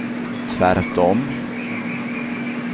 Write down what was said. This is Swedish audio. tvärtom